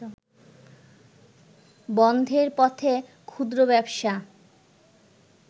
বন্ধের পথে ক্ষুদ্র ব্যবসা